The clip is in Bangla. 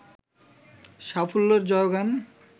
সাফল্যের জয়গান